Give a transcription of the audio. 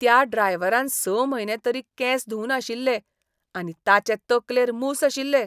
त्या ड्रायव्हरान स म्हयने तरी केंस धुंवनाशिल्ले आनी ताचे तकलेर मूस आशिल्ले.